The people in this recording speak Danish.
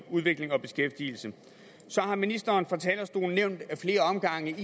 udvikling og beskæftigelse så har ministeren fra talerstolen af flere omgange